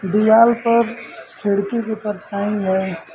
दीवाल पर खिड़की की परछाई है।